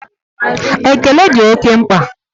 Ekele dị oke mkpa